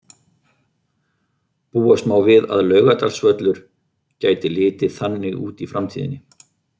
Búast má við að Laugardalsvöllur gæti litið þannig út í framtíðinni.